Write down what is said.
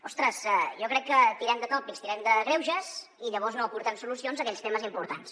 ostres jo crec que tirem de tòpics tirem de greuges i llavors no aportem solucions a aquells temes importants